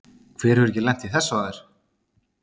Hver hefur ekki lent í þessu áður?